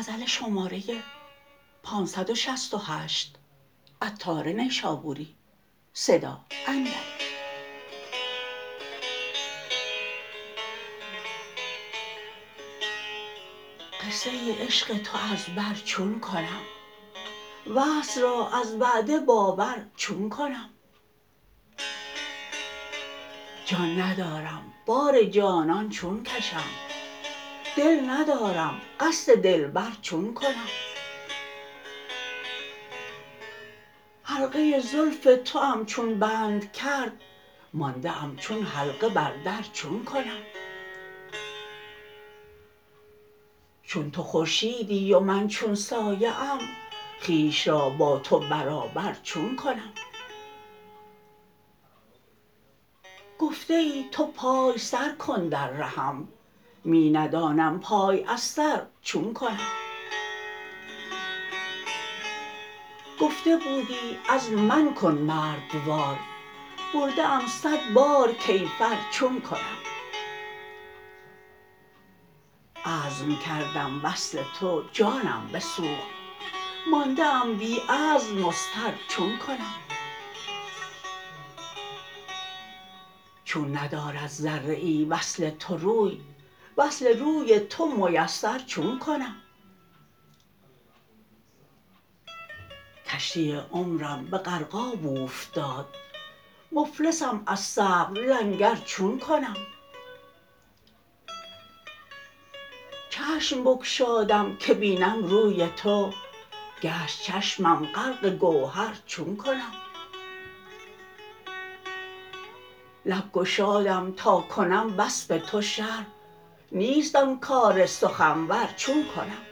قصه عشق تو از بر چون کنم وصل را از وعده باور چون کنم جان ندارم بار جانان چون کشم دل ندارم قصد دلبر چون کنم حلقه زلف توام چون بند کرد مانده ام چون حلقه بر در چون کنم چون تو خورشیدی و من چون سایه ام خویش را با تو برابر چون کنم گفته ای تو پای سر کن در رهم می ندانم پای از سر چون کنم گفته بودی عزم من کن مردوار برده ام صد بار کیفر چون کنم عزم کردم وصل تو جانم بسوخت مانده ام بی عزم مضطر چون کنم چون ندارد ذره ای وصل تو روی وصل روی تو میسر چون کنم کشتی عمرم به غرقاب اوفتاد مفلسم از صبر لنگر چون کنم چشم بگشادم که بینم روی تو گشت چشمم غرق گوهر چون کنم لب گشادم تا کنم وصف تو شرح نیست آن کار سخنور چون کنم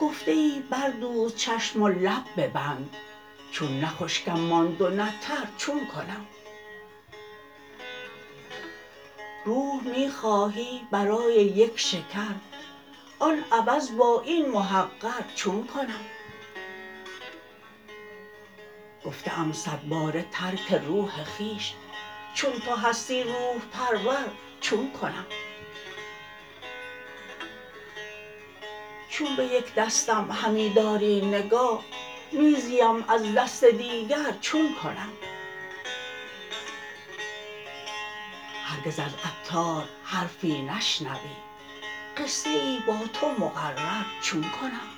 گفته ای بردوز چشم و لب ببند چون نه خشکم ماند و نه تر چون کنم روح می خواهی برای یک شکر آن عوض با این محقر چون کنم گفته ام صد باره ترک روح خویش چون تو هستی روح پرور چون کنم چون به یک دستم همی داری نگاه می زیم از دست دیگر چون کنم هرگز از عطار حرفی نشنوی قصه ای با تو مقرر چون کنم